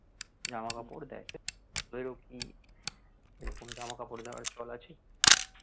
জামা কাপড় দেয় তোদেরও কি এরকম জামা কাপড় দেওয়ার চল আছে?